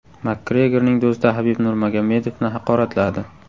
Makgregorning do‘sti Habib Nurmagomedovni haqoratladi.